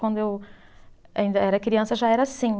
Quando eu ainda era criança já era assim.